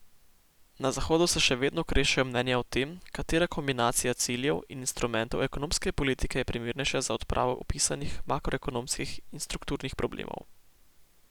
Na zahodu se še vedno krešejo mnenja o tem, katera kombinacija ciljev in instrumentov ekonomske politike je primernejša za odpravo opisanih makroekonomskih in strukturnih problemov.